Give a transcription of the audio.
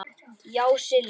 Já, Silli.